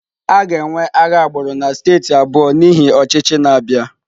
A ga-enwe agha agbụrụ na steeti abụọ n'ihi ọchịchị na-abịa.